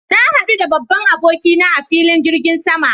Na hadu da babban aboki na a filin jirgin sama